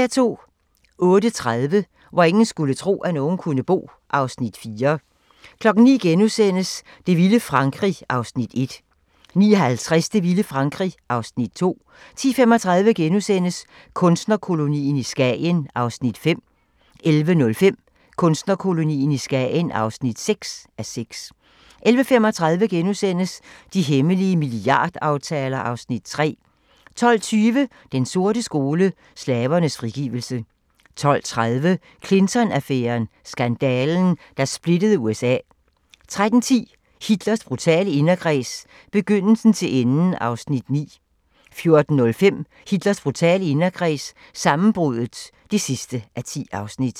08:30: Hvor ingen skulle tro, at nogen kunne bo (Afs. 4) 09:00: Det vilde Frankrig (Afs. 1)* 09:50: Det vilde Frankrig (Afs. 2) 10:35: Kunstnerkolonien i Skagen (5:6)* 11:05: Kunstnerkolonien i Skagen (6:6)* 11:35: De hemmelige milliardaftaler (Afs. 3)* 12:20: Den sorte skole: Slavernes frigivelse 12:30: Clinton-affæren: Skandalen, der splittede USA 13:10: Hitlers brutale inderkreds – begyndelsen til enden (9:10) 14:05: Hitlers brutale inderkreds – sammenbruddet (10:10)